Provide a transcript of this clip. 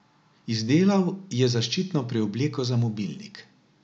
Izdelal je zaščitno preobleko za mobilnik.